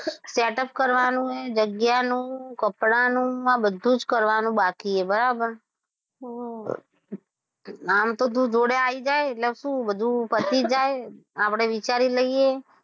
set up કરવાનું, જગ્યાનું કપડાનું આ બધું જ કરવાનું બાકી છે બરાબર હમ આમ તો તું જોડે આવી એટલે શું બધું પતિ જાય આપડે વિચારી લઇએ.